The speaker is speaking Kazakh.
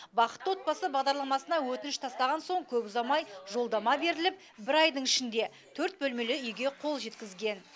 бақытты отбасы бағдарламасына өтініш тастаған соң көп ұзамай жолдама беріліп бір айдың ішінде төрт бөлмелі үйге қол жеткізген